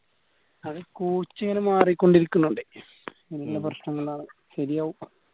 അത് coach ഇങ്ങന മാറിക്കൊണ്ട് ഇരിക്കുന്നോണ്ട് പ്രശ്നങ്ങളാണ്. ശെരിയാവും